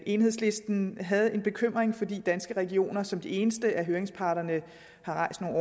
enhedslisten havde en bekymring fordi danske regioner som den eneste af høringsparterne har rejst nogle